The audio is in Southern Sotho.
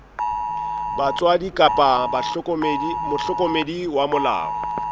batswadi kapa mohlokomedi wa molao